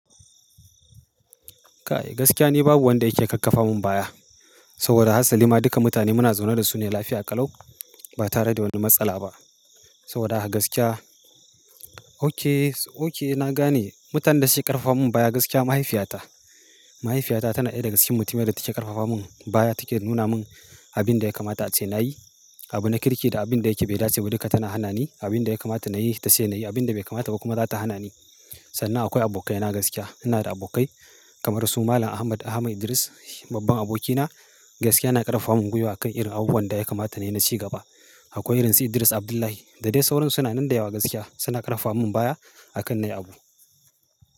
Kai gaskiya ni babu wanda yake kakkafa mun baya. Saboda haka salima duka mutane muna zaune da su ne lafiya ƙalau ba tare da wani matsala ba. Saboda haka gaskiya, okay, okay na gane mutanen da suke ƙarfafa mun baya gaskiya mahaifiyata. Mahaifiyata tana ɗaya daga cikin mutanen da take ƙarfafa mun baya take nuna mun abin da ya kamata a ce na yi, abin da kirki da abin da yake ba da ce ba duka tana hana ni abin da ya kamata na yi ta ce na yi abin da bai kamata ba kuma za ta hana ni. Sannan akwai abokai na gaskiya. Ina da abokai kamar su Malam Ahmad, Ahmad Idris babban abokina gaskiya na ƙarfafa mun gwiwa a kan irin abubuwan da ya kamata na yi na ci gaba. Akwai rinjaye Idris Abdullahi da dai sauran su nan da yawa gaskiya suna ƙarfafa mun baya a kan nayi abu.